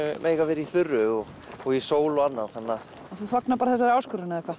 eiga að vera í þurru og og í sól og annað og þú fagnar bara þessari áskorun eða hvað